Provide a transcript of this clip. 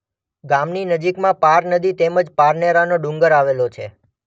ગામની નજીકમાં પાર નદી તેમ જ પારનેરાનો ડુંગર આવેલો છે.